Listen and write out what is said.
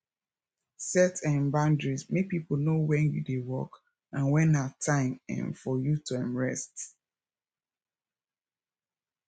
set um boundaries make pipo know when you dey work and when na time um for you to um rest